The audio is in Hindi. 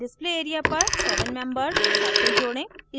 display area पर seven membered seven membered cycle जोड़ें